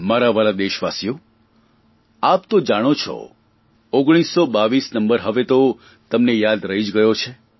મારા વ્હાલા દેશવાસીઓ આપ તો જાણો છો 1922 નંબર હવે તો તમને યાદ રહી જ ગયો છે